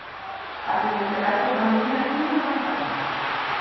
Ætlið þið ekki að leggja fram nýja tillögu væntanlega?